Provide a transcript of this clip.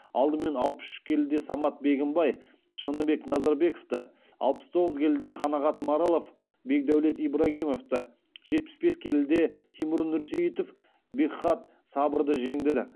алдымен алпыс үш келіде самат бегімбай шыныбек назарбековті алпыс тоғыз келіде қанағат маралов бекдәулет ибрагимовті жетпіс бес келіде тимур нұрсейітов бекхат сабырды жеңдіді